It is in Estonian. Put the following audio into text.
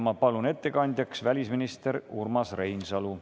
Ma palun ettekandjaks välisminister Urmas Reinsalu.